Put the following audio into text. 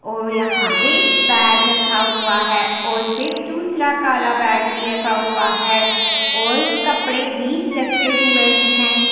और यहाँ पर बैग रखा हुआ है और फिर दूसरा काला बैग भी रखा हुआ है और कपड़े भी रखे हुए है।